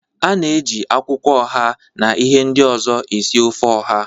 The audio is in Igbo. A na-eji akwụkwọ oha na ihe ndị ọzọ esi ofe oha.